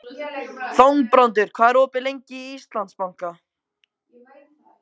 Þangbrandur, hvað er opið lengi í Íslandsbanka?